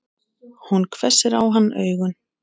Hún hvessir á hann augun.